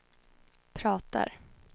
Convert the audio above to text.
pratar